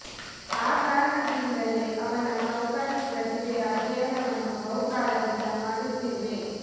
ಆ ಕಾರಣದಿಂದಲೇ ಅವನ ಚೌಕಾಸಿ ಪ್ರತಿಭೆಯ ಅಧ್ಯಯನವನ್ನು ಬಹು ಕಾಲದಿಂದ ಮಾಡುತ್ತಿರುವೆ